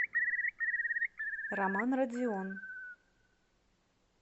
роман радзион